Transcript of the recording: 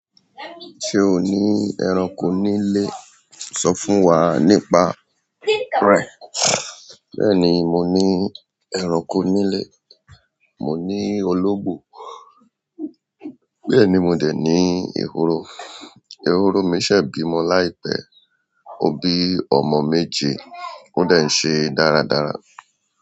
Ṣé o ní ẹranko nílé? Sọ fún wa nípa rẹ̀. Bẹ́ẹ̀ni, mo ní ẹranko nílé. Mo ní ológbò, bẹ́ẹ̀ ni mo dè ní ehoro. Ehoro mi ṣẹ̀ bí mọ láìpẹ́. Ó bí ọmọ méje. Ó de n ṣe dáradára.